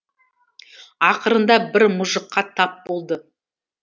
ақырында бір мұжыққа тап болды